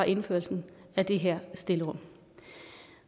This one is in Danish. indførelsen af det her stillerum